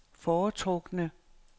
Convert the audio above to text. foretrukne